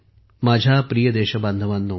माझ्या प्रिय देशबांधवांनो